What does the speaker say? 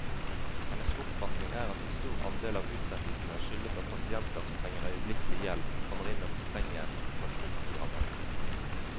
Hennes oppfatning er at en stor andel av utsettelsene skyldes at pasienter som trenger øyeblikkelig hjelp, kommer inn og fortrenger operasjonsprogrammet.